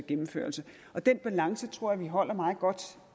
gennemførelse og den balance tror jeg vi holder meget godt